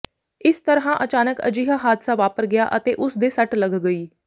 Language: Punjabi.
ਇਸ ਤਰ੍ਹਾਂ ਅਚਾਨਕ ਅਜਿਹਾ ਹਾਦਸਾ ਵਾਪਰ ਗਿਆ ਅਤੇ ਉਸਦੇ ਸੱਟ ਲੱਗ ਗਈ